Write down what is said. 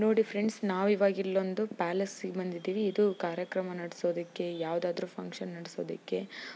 ನೋಡಿ ಫ್ರೆಂಡ್ಸ್ ನಾವಿವಾಗ್ ಇಲ್ಲೊಂದು ಪ್ಯಾಲೇಸ್ ಸಿಗೆ ಬಂದಿದ್ದಿವಿ ಇದು ಕಾರ್ಯಕ್ರಮ ನಡೆಸುವುದಕ್ಕೆ ಯಾವುದಾದರೂ ಫಂಕ್ಷನ್ ನಡೆಸುವುದಿಕ್ಕೆ